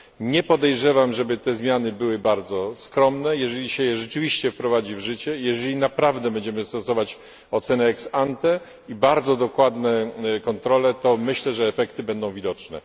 Nie podejrzewam, żeby te zmiany były bardzo skromne. Jeżeli wprowadzi się je rzeczywiście w życie, jeżeli naprawdę będziemy stosować ocenę ex ante i bardzo dokładne kontrole, to myślę, że efekty będą widoczne.